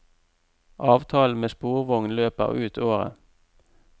Avtalen med sporvogn løper ut året.